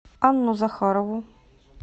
анну захарову